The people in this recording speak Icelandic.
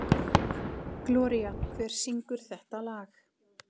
Gloría, hver syngur þetta lag?